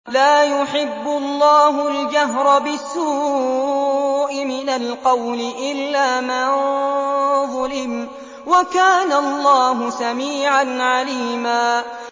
۞ لَّا يُحِبُّ اللَّهُ الْجَهْرَ بِالسُّوءِ مِنَ الْقَوْلِ إِلَّا مَن ظُلِمَ ۚ وَكَانَ اللَّهُ سَمِيعًا عَلِيمًا